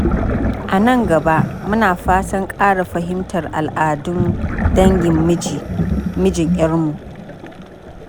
A nan gaba, muna fatan ƙara fahimtar al’adun dangin mijin ƴarmu.